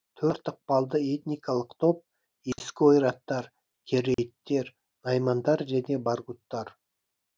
төрт ықпалды этникалық топ ескі ойраттар керейіттер наймандар және баргуттар